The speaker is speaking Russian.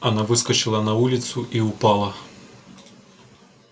она выскочила на улицу и упала